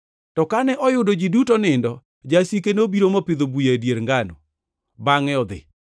To kane oyudo ji duto nindo, jasike nobiro mopidho buya e dier ngano, bangʼe to odhi.